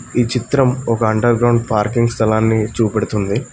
ఈ చిత్రం ఒక అండర్ గ్రౌండ్ పార్కింగ్ స్థలాన్ని చూపెడుతుంది.